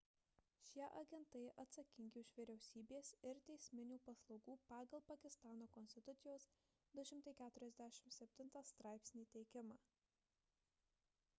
šie agentai atsakingi už vyriausybės ir teisminių paslaugų pagal pakistano konstitucijos 247 straipsnį teikimą